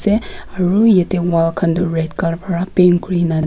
se aru yatae wall khan tu red colour pra paint kurina.